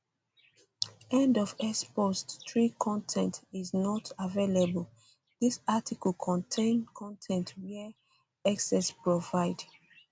end of x post 3 con ten t um is not um available dis article contain con ten t wey x x provide